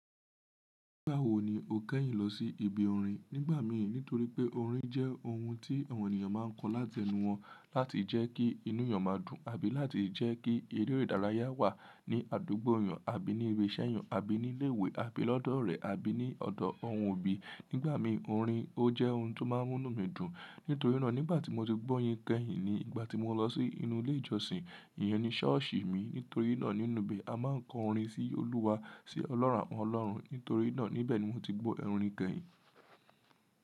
Nígbà wo ni o kẹ́yìn lọ sí ibi orin? Nígbà mi nítorí pé orin jẹ́ oun tí àwọn ènìyàn máa ń kọ láti ẹnu wọn láti jẹ́ kí inú èèyàn máa dùn àbí láti jẹ́ kí eré ìdárayá wà ní àdúgbò èèyàn àbí ní ibi iṣẹ́ èèyàn àbí ní ilé ìwé àbí lọ́dọ̀ rẹ̀ àbí ní ọ̀dọ̀ oun òbí. Nígbà mi orin ó jẹ́ oun tó máa ń múni dùn. Nítorí náà nígbà tí mo ti gbó yin kẹ́yìn ni ìgbà tí mo lọ sí inú ilé ìjọsìn, ìyẹn ni ṣọ́ọ̀ṣì mi. Nítorí náà nínú ibẹ̀ a máa ń kọ orin sí Olúwa, sí ọlọ́run àwọ́n Ọlọ́run. Nítorí náà níbẹ̀ ni mo ti gbọ́ ẹrin kẹ́yìn.